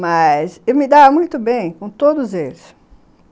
Mas eu me dava muito bem com todos eles.